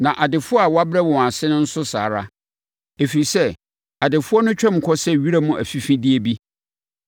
na adefoɔ a wabrɛ wɔn ase no nso saa ara. Ɛfiri sɛ, adefoɔ no twam kɔ sɛ wiram afifideɛ bi.